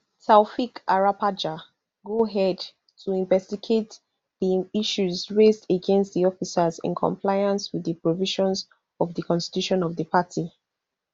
taofeek arapaja go head to investigate di issues raised against di officers in compliance wit di provisions of di constitution of di party